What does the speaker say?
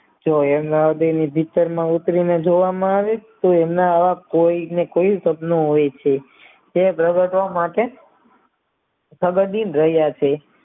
તેઓ ઉતરીને જોવા માં આવે તો એમના આ કોઈ ને કોઈ સપના હોય છે તે દ્રાવકો માટે પ્રગતિં રહ્યા છે